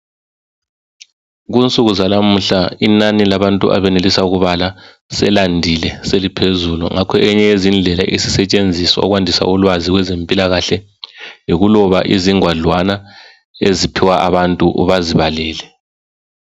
Kunsuku zalamuhla inani labantu abenelisa ukubala selandile seliphezulu ngakho eyinye yezindlela esisetshenziswa ukwandisa ulwazi kwe zempilakahle yikuloba izingwadlwana eziphiwa abantu bazibalele